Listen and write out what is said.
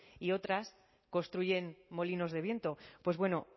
y otras construyen molinos de viento pues bueno